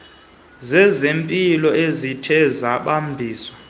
zezempilo zithe zabambisana